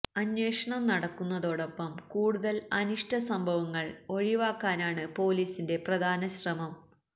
അന്വേഷണം നടക്കുന്നതോടൊപ്പം കൂടുതല് അനിഷ്ട സംഭവങ്ങള് ഒഴിവാക്കാനാണ് പൊലീസിന്റെ പ്രധാന ശ്രമം